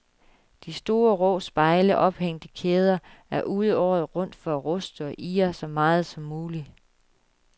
De store, rå spejle, ophængt i kæder, er ude året rundt for at ruste og irre så meget som muligt.